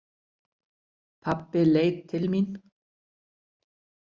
Pabbi leit til mín.